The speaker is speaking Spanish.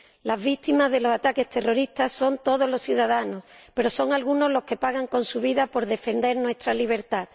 Las víctimas de los ataques terroristas son todos los ciudadanos, pero son algunos los que pagan con su vida por defender nuestra libertad.